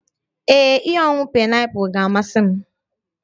Ee, ihe ọṅụṅụ paịnapụl ga-amasị m